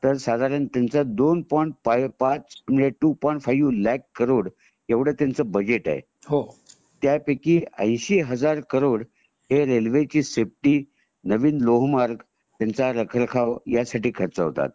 साधारण त्याच दोन पॉइंट पाच म्हणजे two point five lakh crore त्यांचं बजेट आहे त्यापिकी ऐंशी हजार करोड रेल्वे ची सेफ्टी नवीन लोहोमर्ग त्यांचा रखरखाव ह्यांचासाठी खर्च होतात